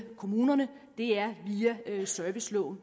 kommunerne via serviceloven